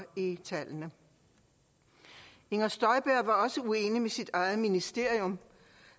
i tallene inger støjberg var også uenig med sit eget ministerium